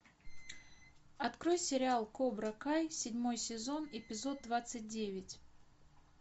открой сериал кобра кай седьмой сезон эпизод двадцать девять